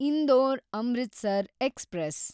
Indore Amritsar express